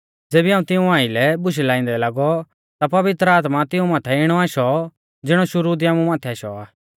ज़ेबी हाऊं तिऊं आइलै बुशै लाइंदै लागौ ता पवित्र आत्मा तिऊं माथै इणौ आशौ ज़िणौ शुरु दी आमु माथै आशौ आ